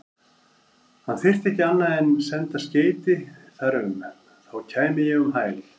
Hann þyrfti ekki annað en senda skeyti þar um, þá kæmi ég um hæl.